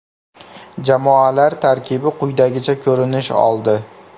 Jamoalar tarkibi quyidagicha ko‘rinish oldi.